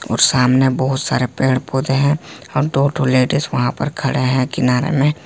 और सामने बहुत सारे पेड़ पौधे हैं और दो ठो लेडिस वहां पर खड़े हैं किनारे में।